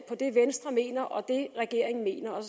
på det venstre mener og det regeringen mener og